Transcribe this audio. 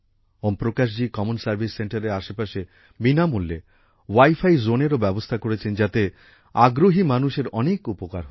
ওম Prakash ji common service সেন্টারের আশেপাশে বিনা মূল্যে উইফি জোনেরও ব্যবস্থা করেছেন যাতে আগ্রহি মানুষের অনেক উপকার হচ্ছে